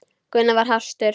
Gunnar var hastur.